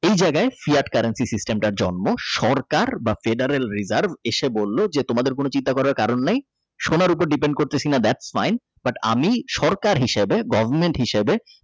এই জায়গায় CEATcurrency system জন্ম সরকার বা Traderail Reserve এসে বলল যে তোমাদের কোন চিন্তা করার কারন নাই সোনার উপর দিবেন করতাছি না That fine but আমি সরকার হিসাবে government হিসাবে।